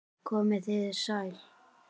Komið þið sæl.